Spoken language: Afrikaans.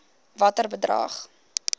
watter bedrag